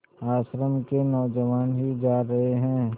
आश्रम के नौजवान ही जा रहे हैं